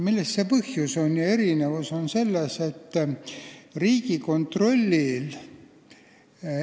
Milles see põhjus on?